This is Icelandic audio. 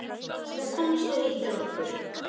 Þú komst og hittir okkur.